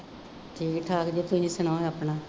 ਠੀਕ ਠਾਕ ਜੀ ਤੁਸੀਂ ਸੁਣਾਉ ਆਪਣਾ